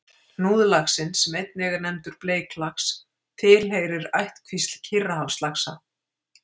Hnúðlaxinn, sem einnig er nefndur bleiklax, tilheyrir ættkvísl Kyrrahafslaxa.